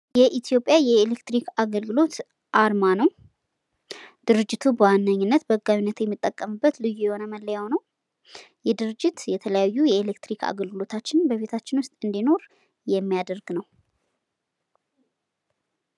ይህ መምስሉ ላይ የምናየው የኢትዮጵያ የኤሌክትሪክ አገልግሎት አርማ። ድርጅቱ የተለያዩ አገልግሎቶችን ለግብረተሰቡ ይሰጣል።